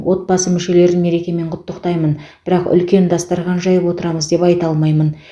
отбасы мүшелерін мерекемен құттықтаймын бірақ үлкен дастархан жайып отырамыз деп айта алмаймын